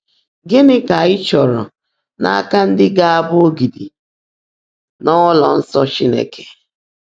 Gịnị ka a chọrọ n’aka ndị ga-abụ ‘ogidi n’ụlọ nsọ Chineke’?